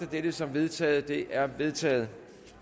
dette som vedtaget det er vedtaget